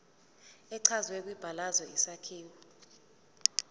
echazwe kwibalazwe isakhiwo